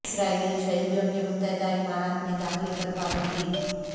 اسرائیلی شہریوں کے متحدہ امارات میں داخلے پر پابندی